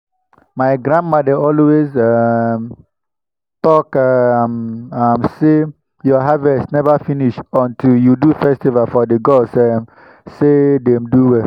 my grandmama dey always um talk um am. say your harvest never finish until you do festival for the gods um say dem do well.